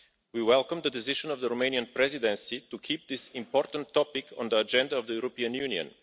We welcome the decision of the Romanian Presidency to keep this important topic on the agenda of the European Union.